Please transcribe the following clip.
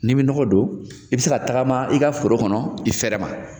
N'i bɛ nɔgɔ don, i bɛ se ka tagama i ka foro kɔnɔ i fɛrɛ ma.